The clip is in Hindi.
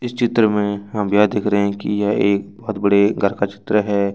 इस चित्र में हम यह देख रहे हैं की यह एक बड़े घर का चित्र है।